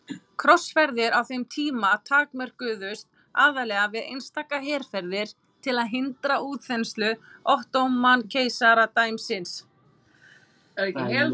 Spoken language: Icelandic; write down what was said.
Krossferðir á þeim tíma takmörkuðust aðallega við einstaka herferðir til að hindra útþenslu Ottóman-keisaradæmisins.